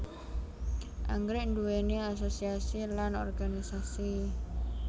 Anggrèk nduwéni asosiasi lan organisasi